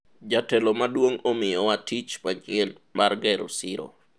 jatelo maduong' omiyowa tich manyien mar gero siro